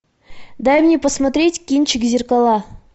дай мне посмотреть кинчик зеркала